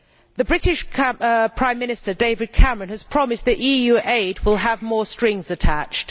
The British Prime Minister, David Cameron, has promised that EU aid will have more strings attached.